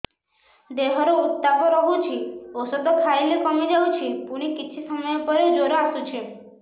ଦେହର ଉତ୍ତାପ ରହୁଛି ଔଷଧ ଖାଇଲେ କମିଯାଉଛି ପୁଣି କିଛି ସମୟ ପରେ ଜ୍ୱର ଆସୁଛି